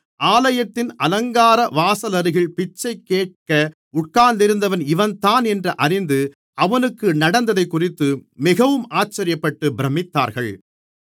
ஆலயத்தின் அலங்கார வாசலருகில் பிச்சைகேட்க உட்கார்ந்திருந்தவன் இவன்தான் என்று அறிந்து அவனுக்கு நடந்ததைக்குறித்து மிகவும் ஆச்சரியப்பட்டு பிரமித்தார்கள்